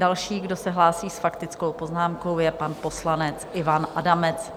Další, kdo se hlásí s faktickou poznámkou, je pan poslanec Ivan Adamec.